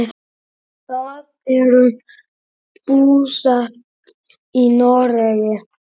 Þau eru búsett í Noregi.